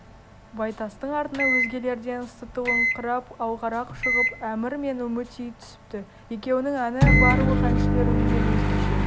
байтастың артына өзгелерден сытылыңқырап алғарақ шығып әмір мен үмітей түсіпті екеуінің әні барлық әншілер үнінен өзгеше